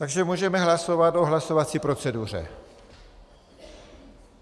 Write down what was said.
Takže můžeme hlasovat o hlasovací proceduře.